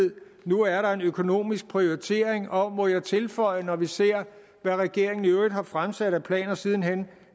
nu er en økonomisk prioritering og må jeg tilføje når vi ser hvad regeringen i øvrigt har fremsat af planer siden hen